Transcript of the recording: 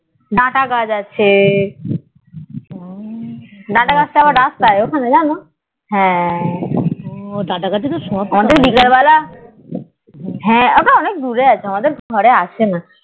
data গাছ আছে ডাটা গাছ আছে তো আবার রাস্তায় ওখানে জানো ডাটা গাছে তো ওই বিকাল বেলা হ্যাঁ অনেক দূরে আছে আমাদের ঘরে আসে না